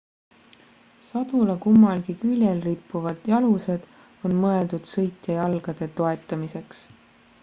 sadula kummalgi küljel rippuvad jalused on mõeldud sõitja jalgade toetamiseks